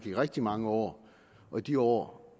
i rigtig mange år og i de år